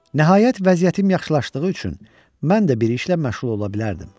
Nəhayət, vəziyyətim yaxşılaşdığı üçün mən də bir işlə məşğul ola bilərdim.